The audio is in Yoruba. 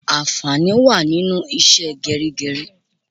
Ànfàní wá nínú ìṣe gerigeri